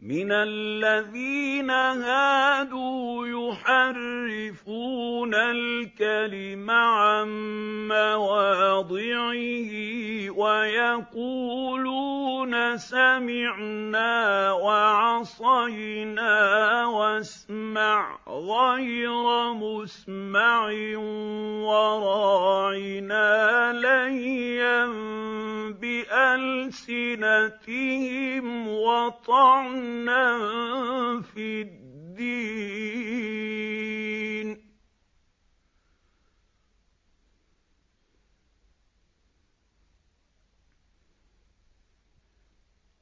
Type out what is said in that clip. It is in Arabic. مِّنَ الَّذِينَ هَادُوا يُحَرِّفُونَ الْكَلِمَ عَن مَّوَاضِعِهِ وَيَقُولُونَ سَمِعْنَا وَعَصَيْنَا وَاسْمَعْ غَيْرَ مُسْمَعٍ وَرَاعِنَا لَيًّا بِأَلْسِنَتِهِمْ وَطَعْنًا فِي الدِّينِ ۚ